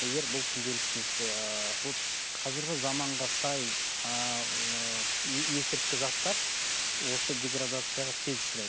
егер бұл күнделікті нетсе ыыы ол қазіргі заманға сай ыыы есірткі заттар осы деградацияға тез ұшырайды